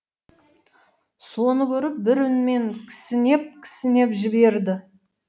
соны көріп бір үнмен кісінеп кісінеп жіберді